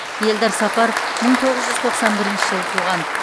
елдар сапаров мың тоғыз жүз тоқсан бірінші жылы туған